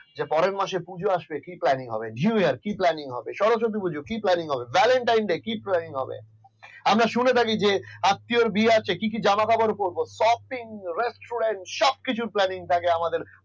পরের মাছে পূজো আসছে কি planning হবে? new year কি planning হবে সরস্বতী পুজো কি planning হবে valentine day কি planning হবে আমরা শুনে থাকি যে আত্মির বিয়ে আসছে কি কি জামা কাপড় পড়বো shopping restaurant সবকিছু planning থাকে আমাদের।